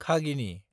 खागिनि